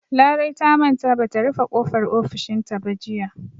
Larai ta manta ba ta rufe ƙofar ofishinta ba jiya.